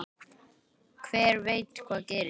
Hver veit hvað gerist?